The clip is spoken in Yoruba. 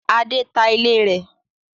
Adé ta ilé rẹ̀.